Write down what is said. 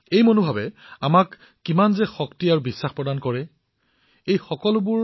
এই অনুভৱে আমাক ইমান শক্তি প্ৰদান কৰে ই আমাক ইমান বিশ্বাস দিয়ে